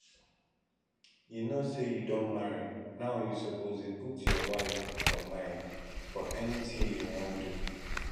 you know say you don marry now you suppose dey put your wife for mind for anything you wan do